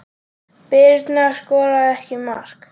Birna skoraði ekki mark.